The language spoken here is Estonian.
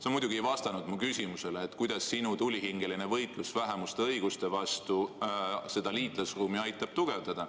Sa muidugi ei vastanud mu küsimusele, kuidas sinu tulihingeline võitlus vähemuste õiguste vastu seda liitlasruumi aitab tugevdada.